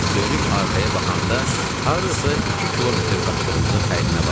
Dönüb arxaya baxanda, hardasa iki kilometr qaçdığımızın fərqinə vardım.